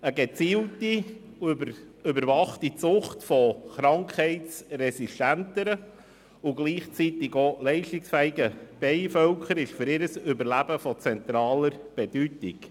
Eine gezielte und überwachte Zucht von krankheitsresistenteren und gleichzeitig auch leistungsfähigen Bienenvölkern ist für deren Überleben von zentraler Bedeutung.